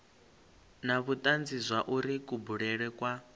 na vhutanzi zwauri kubulele kwa